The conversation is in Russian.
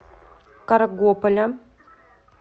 каргополя